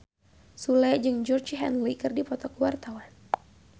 Sule jeung Georgie Henley keur dipoto ku wartawan